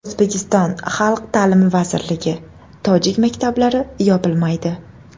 O‘zbekiston Xalq ta’limi vazirligi: Tojik maktablari yopilmaydi.